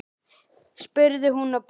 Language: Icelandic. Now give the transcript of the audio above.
spurði hún og brosti.